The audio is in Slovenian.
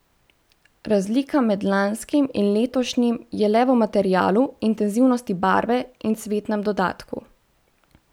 Razlika med lanskim in letošnjim je le v materialu, intenzivnosti barve in cvetnem dodatku.